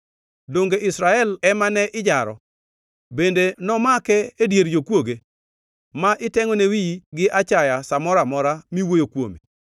Donge Israel ema ne ijaro? Bende nomake e dier jokwoge, ma itengʼone wiyi gi achaya sa moro amora miwuoyo kuome?